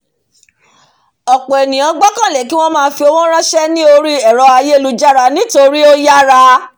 ọ̀pọ̀ ènìyàn gbẹ́kẹ̀lé kíwọ́n máa fi owó rànsẹ́ ní orí ẹ̀rọ̀ ayélujára nítorí ó yára